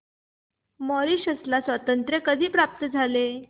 Mauritius ला स्वातंत्र्य कधी प्राप्त झाले